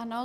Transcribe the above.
Ano.